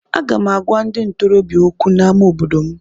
Aga m agwa ndị ntorobịa okwu n’ámá obodo m.